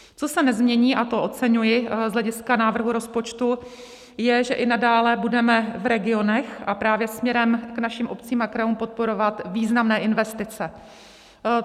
Co se nezmění, a to oceňuji z hlediska návrhu rozpočtu, je, že i nadále budeme v regionech a právě směrem k našim obcím a krajům podporovat významné investice.